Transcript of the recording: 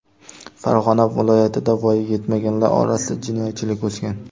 Farg‘ona viloyatida voyaga yetmaganlar orasida jinoyatchilik o‘sgan.